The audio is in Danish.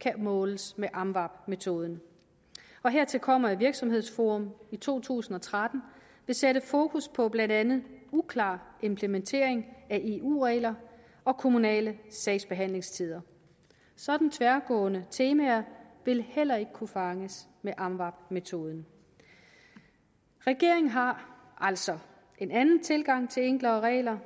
kan måles med amvab metoden hertil kommer at virksomhedsforum i to tusind og tretten vil sætte fokus på blandt andet uklar implementering af eu regler og kommunale sagsbehandlingstider sådanne tværgående temaer vil heller ikke kunne fanges med amvab metoden regeringen har altså en anden tilgang til enklere regler